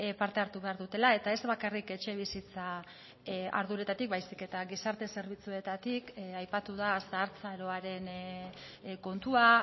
parte hartu behar dutela eta ez bakarrik etxebizitza arduretatik baizik eta gizarte zerbitzuetatik aipatu da zahartzaroaren kontua